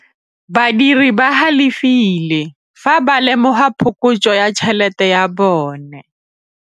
Badiri ba galefile fa ba lemoga phokotsô ya tšhelête ya bone.